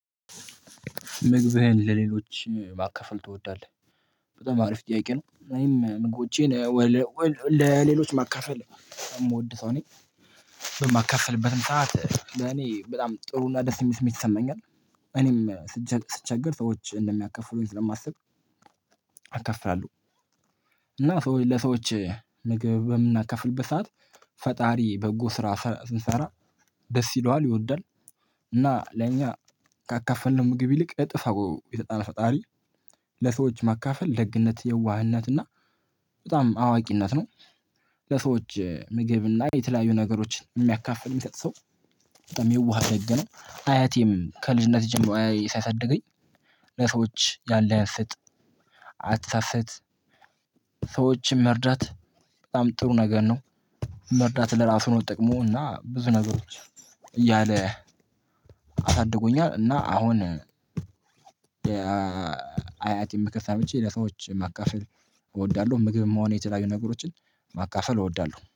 "ምግብህን ለሌሎች ማካፈል ትወዳለህ?" በጣም አሪፍ ጥያቄ ነው። እኔም ምግቦቼን ወል ለሌሎች ማካፈል የምወድ ሰው ነኝ። በማካፈልበትም ሰዓት ለኔ ጥሩና ደስ የሚስመኝ ትሰማኛለህ እኔም ስትቸገር ሰዎች እንደሚያከፍሉኝ ስለማስብ አካፍላለሁ እና ሰዎ ለሰዎች ምግብ በምናከፍልበት ሰዓት ፈጣሪ በጎ ስራ ስ ስንሰራ ደስ ይለዋል ይወዳል እና ለኛ ካካፈልነው ምግብ ይልቅ እጥፍ አርጎ ይሰጠናል ፈጣሪ ለሰዎች ማካፈል ደግነት የዋህነት እና በጣም አዋቂነት ነው። ለሰዎች ምግብና የተለያዩ ነገሮችን የሚያካፍል የሚሰጥ ሰው በጣም የዋህ ደግ ነው። አያቴም ከልጅነቴ ጀምሮ ሲያሳድገኝ ለሰዎች ያለህን ስጥ አትሰስት ሰዎችን መርዳት በጣም ጥሩ ነገር ነው። መርዳት ለራሱ ነው ጥቅሙ እና ብዙ ነገሮች እያለ አሳድጎኛል እና አሁን አያትን ምክር ሰምቼ ለሰዎች ማካፈል እወዳለሁ። ምግብም ሆነ የተለያዩ ነገሮችን ማካፈል እወዳለሁ።